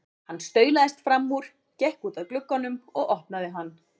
Hann staulaðist fram úr, gekk út að glugganum og opnaði hann.